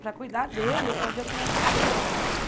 Para cuidar dele ou para ver o que vai fazer.